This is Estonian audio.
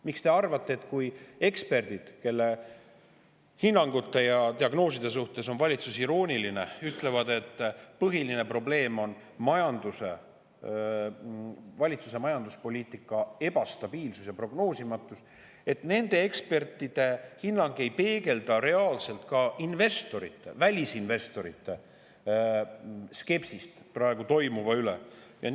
Miks te arvate, et kui eksperdid, kelle hinnangute ja diagnooside suhtes on valitsus irooniline, ütlevad, et põhiline probleem on valitsuse majanduspoliitika ebastabiilsus ja prognoosimatus, siis nende ekspertide hinnang ei peegelda reaalselt investorite, ka välisinvestorite skepsist praegu toimuva suhtes?